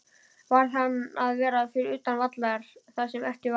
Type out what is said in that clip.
Varð hann að vera utan vallar það sem eftir var?